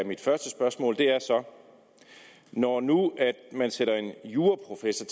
af mit første spørgsmål er så når nu man sætter en juraprofessor